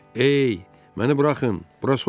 Ey, məni buraxın, bura soyuqdur.